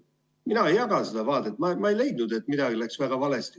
Mina ei jaga seda vaadet, ma ei leia, et midagi läks väga valesti.